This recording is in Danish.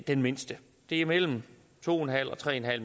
den mindste det er mellem to og tre